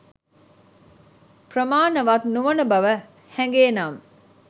ප්‍රමාණවත් නොවන බව හැගේ නම්